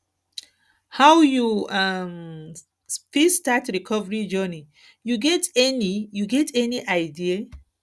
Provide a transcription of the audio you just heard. how you um fit start recovery journey you get any you get any idea